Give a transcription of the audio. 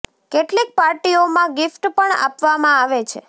કેટલીક પાર્ટીઓ માં ગીફ્ટ પણ આપવા માં આવે છે